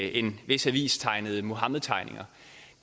en vis avis tegnede muhammedtegninger